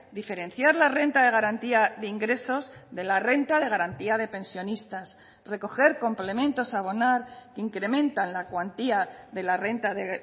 diferenciar la renta de garantía de ingresos de la renta de garantía de pensionistas recoger complementos a abonar que incrementan la cuantía de la renta de